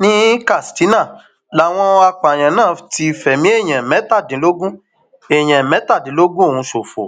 ní katsina làwọn apààyàn náà ti fẹmí èèyàn mẹtàdínlógún èèyàn mẹtàdínlógún ọhún ṣòfò